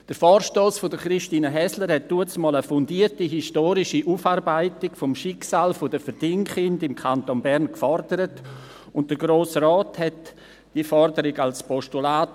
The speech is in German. Der Vorstoss von Christine Häsler forderte damals eine fundierte historische Aufarbeitung des Schicksals der Verdingkinder im Kanton Bern, und der Grosse Rat überwies diese Forderung als Postulat.